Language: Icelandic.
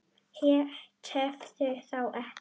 Tefðu þá ekki.